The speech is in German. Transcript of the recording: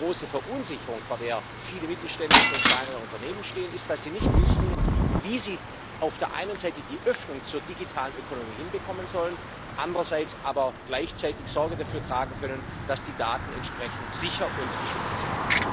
Aber die große Verunsicherung, vor der viele mittelständische und kleinere Unternehmen stehen, ist, dass sie nicht wissen, wie sie auf der einen Seite die Öffnung zur digitalen Ökonomie hinbekommen sollen, andererseits aber gleichzeitig Sorge dafür tragen können, dass die Daten entsprechend sicher und geschützt sind.